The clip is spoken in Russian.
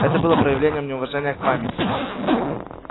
это было бы проявлением неуважения к к памяти